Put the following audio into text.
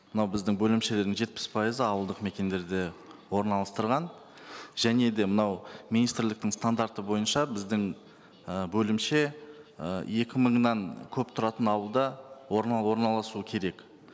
мынау біздің бөлімшелердің жетпіс пайызы ауылдық мекендерде орналыстырған және де мынау министрліктің стандарты бойынша біздің і бөлімше і екі мыңнан көп тұратын ауылда орналасу керек